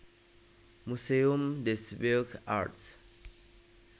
Muséum des Beaux Arts